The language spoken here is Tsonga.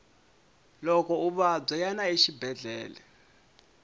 loko u vabya yana exibedele